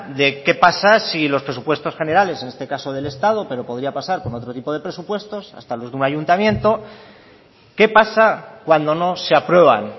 de qué pasa si los presupuestos generales en este caso del estado pero podría pasar con otro tipo de presupuestos hasta los de un ayuntamiento qué pasa cuando no se aprueban